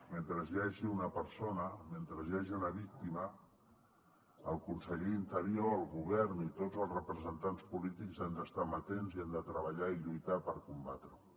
mentre hi hagi una persona mentre hi hagi una víctima el conseller d’interior el govern i tots els representants polítics hem d’estar amatents i hem de treballar i lluitar per combatre ho